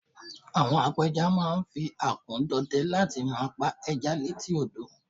àwọn apẹja ma n fi akun dọdẹ láti ma pa eja létí odo